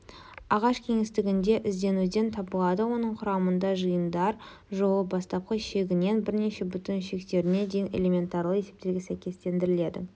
ағаш кеңістігінде ізденуден табылады оның құрамында жиындар жолы бастапқы шегінен бірнеше бүтін шектеріне дейін элементарлы есептерге сәйкестендіріледі